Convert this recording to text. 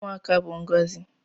Ụmụaka bụ ngọzi